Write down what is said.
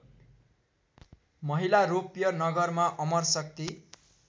महिलारोप्य नगरमा अमरशक्ति